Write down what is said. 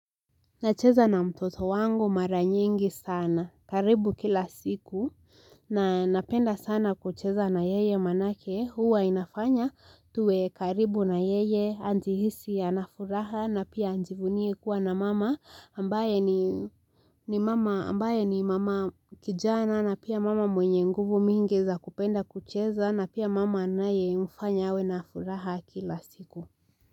Nacheza na mtoto wangu mara nyingi sana karibu kila siku na napenda sana kucheza na yeye maanake huwa inafanya tuwe karibu na yeye ajihisi ana furaha na pia ajivunie kuwa na mama ambaye ni ambaye ni mama kijana na pia mama mwenye nguvu mingi za kupenda kucheza na pia mama anayemfanya awe na furaha kila siku.